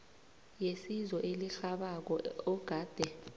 yesizo elirhabako ogade